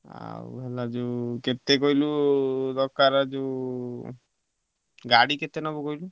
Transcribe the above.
ଆଉ ହେଲା କେତେକହିଲୁ ହେଲା ଦରକାର ଯୋଉ ଗାଡି କେତେ ନବ କହିଲୁ?